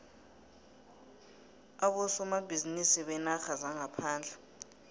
abosomabhizinisi beenarha zangaphandle